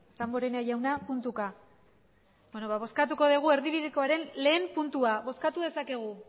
damborenea jauna puntuka beno bozkatuko erdibidekoren lehen puntua bozkatu dezakegu